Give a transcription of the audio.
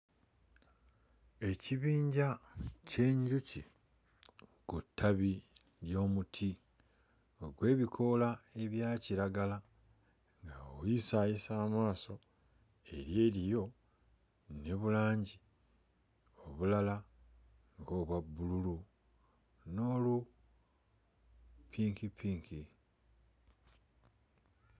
Ekibinja ky'enjuki ku ttabi ly'omuti ogw'ebikoola ebyakiragala nga bw'oyisaayisa amaaso eri eriyo ne bulangi obulala nga obwa bbululu, n'olupinkipinki.